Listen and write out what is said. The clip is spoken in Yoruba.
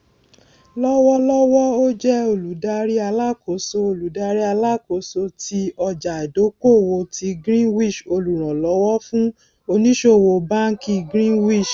lọwọlọwọ ó jẹ olùdarí alákóso olùdarí alákóso tí ọjàìdókòwò ti greenwich olùrànlówó fún ònísòwò báńkì greenwich